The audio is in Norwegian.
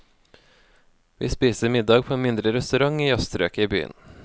Vi spiser middag på en mindre restaurant i jazzstrøket i byen.